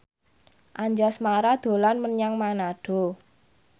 Anjasmara dolan menyang Manado